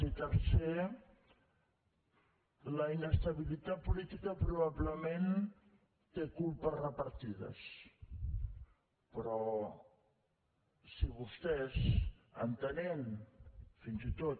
i tercer la inestabilitat política probablement té culpes repartides però si vostès entenent fins i tot